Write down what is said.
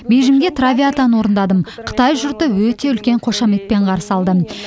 бейжіңде травиатаны орындадым қытай жұрты өте үлкен қошеметпен қарсы алды